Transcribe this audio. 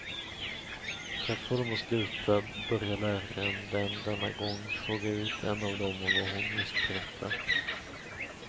För att få dem att sluta börjar läraren den denna gång fråga ut en av dem om vad hon just berättat.